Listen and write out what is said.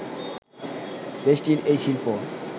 দেশটির এই শিল্প